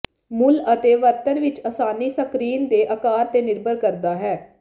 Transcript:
ਮੁੱਲ ਅਤੇ ਵਰਤਣ ਵਿੱਚ ਆਸਾਨੀ ਸਕਰੀਨ ਦੇ ਅਕਾਰ ਤੇ ਨਿਰਭਰ ਕਰਦਾ ਹੈ